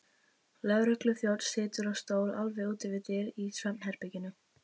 Lögregluþjónn situr á stól alveg úti við dyr í svefnherberginu.